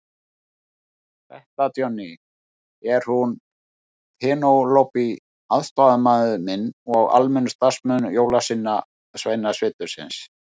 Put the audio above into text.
Þetta Johnny, er hún Penélope aðstoðarmaður minn og almennur starfsmaður Jólasveinasetursins.